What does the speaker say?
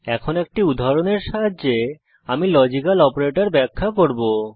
এখন একটি উদাহরণের সাহায্যে আমি লজিক্যাল অপারেটরস ব্যাখ্যা করব